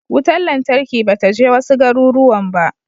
Wutar lantarki ba ta je wasu garuruwan ba.